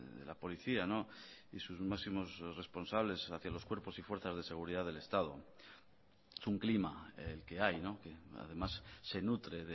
de la policía y sus máximos responsables hacia los cuerpos y fuerzas de seguridad del estado es un clima el que hay que además se nutre